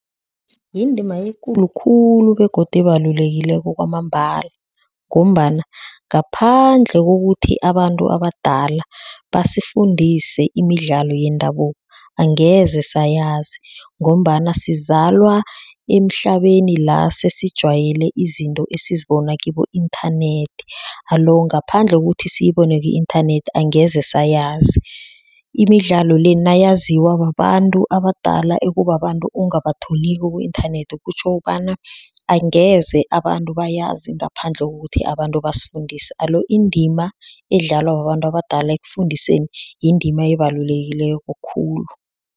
Yindima ekulu khulu begodu ebalulekileko kwamambala ngombana ngaphandle kokuthi abantu abadala basifundise imidlalo yendabuko angeze sayazi ngombana sizalwa emhlabeni la sesijwayele izinto esizibona kibo inthanethi alo, ngaphandle kokuthi siyibone ku-inthanethi angeze seyazi imidlalo le nayaziwa babantu abadala ekubabantu ongabatholiko ku-inthanethi kutjho kobana angeze abantu bayazi ngaphandle kokuthi abantu basifundise alo indima edlalwa babantu abadala ekufundiseni yindima ebalulekileko khulu.